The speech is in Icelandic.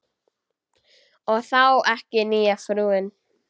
Og þá ekki nýja frúin.